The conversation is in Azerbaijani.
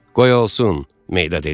Qoy olsun, Meyda dedi.